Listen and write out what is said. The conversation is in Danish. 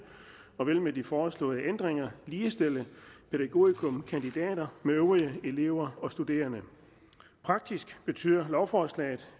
og vil med de foreslåede ændringer ligestille pædagogikumkandidater med øvrige elever og studerende faktisk betyder lovforslaget